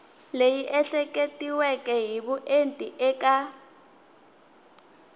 leyi ehleketiweke hi vuenti eka